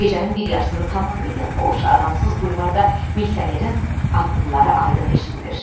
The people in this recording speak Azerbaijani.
Gecənin bir yarısında tamamilə boş adamsız bulvarda milisionerin addımları aydın eşidilir.